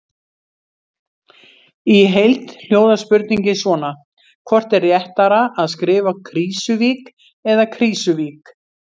Í heild hljóðar spurningin svona: Hvort er réttara að skrifa Krýsuvík eða Krísuvík?